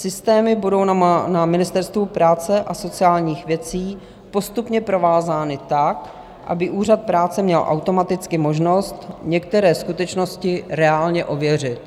Systémy budou na Ministerstvu práce a sociálních věcí postupně provázány tak, aby Úřad práce měl automaticky možnost některé skutečnosti reálně ověřit.